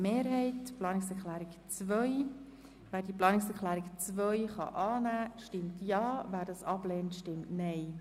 Wer die Planungserklärung 2 annimmt, stimmt Ja, wer diese ablehnt, stimmt Nein.